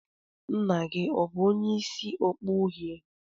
Nna gi o bu onye isi okpu uhie?